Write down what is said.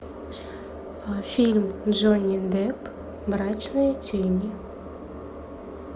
фильм джонни депп мрачные тени